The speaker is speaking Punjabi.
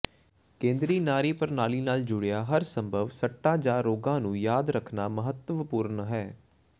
ਕੇਂਦਰੀ ਨਾੜੀ ਪ੍ਰਣਾਲੀ ਨਾਲ ਜੁੜੀਆਂ ਹਰ ਸੰਭਵ ਸੱਟਾਂ ਜਾਂ ਰੋਗਾਂ ਨੂੰ ਯਾਦ ਰੱਖਣਾ ਮਹੱਤਵਪੂਰਣ ਹੈ